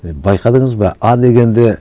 байқадыңыз ба а дегенде